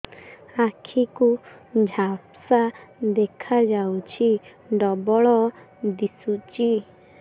ଆଖି କୁ ଝାପ୍ସା ଦେଖାଯାଉଛି ଡବଳ ଦିଶୁଚି